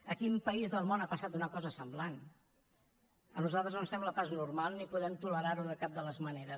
a quin país del món ha passat una cosa semblant a nosaltres no ens sembla pas normal ni podem tolerar ho de cap de les maneres